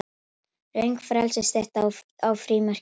Röng frelsisstytta á frímerkinu